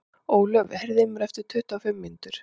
Ólöf, heyrðu í mér eftir tuttugu og fimm mínútur.